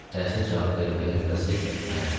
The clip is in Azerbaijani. Dərsə cavab vermək növbəsi mənə çatmışdı.